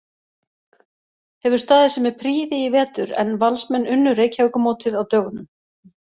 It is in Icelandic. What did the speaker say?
Hefur staðið sig með prýði í vetur en Valsmenn unnu Reykjavíkurmótið á dögunum.